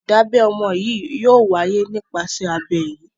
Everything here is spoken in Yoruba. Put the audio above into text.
Ìdábẹ ọmọ yìí yóò wáyé nípasẹ̀ abẹ́ yìí.